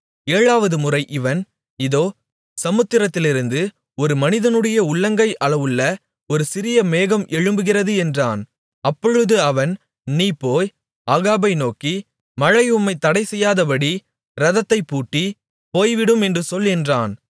ஏழாவது முறை இவன் இதோ சமுத்திரத்திலிருந்து ஒரு மனிதனுடைய உள்ளங்கை அளவுள்ள ஒரு சிறிய மேகம் எழும்புகிறது என்றான் அப்பொழுது அவன் நீ போய் ஆகாபை நோக்கி மழை உம்மைத் தடைசெய்யாதபடி இரதத்தைப் பூட்டி போய்விடும் என்று சொல் என்றான்